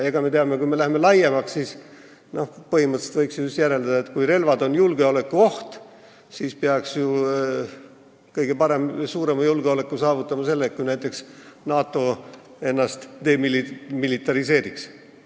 Kui võtta seda teemat laiemalt, siis põhimõtteliselt võiks ju järeldada, et kui relvad on julgeolekuoht, siis saaks julgeolekut kõige paremini saavutada sellega, kui näiteks NATO ennast demilitariseeriks.